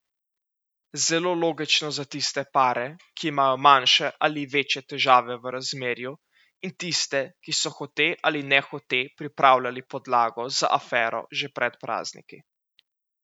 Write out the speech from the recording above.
Zelo logično za tiste pare, ki imajo manjše ali večje težave v razmerju, in tiste, ki so hote ali nehote pripravljali podlago za afero že pred prazniki.